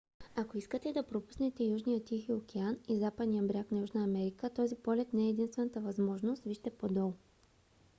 ако искате да пропуснете южния тихи океан и западния бряг на южна америка този полет не е единствената възможност. вижте по-долу